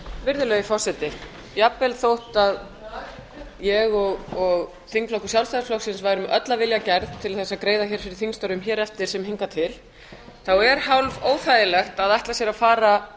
virðulegi forseti jafnvel þótt ég og þingflokkur sjálfstæðisflokksins værum öll af vilja gerð til þess að greiða hér fyrir þingstörfum hér eftir sem hingað til er hálfóþægilegt að ætla sér að fara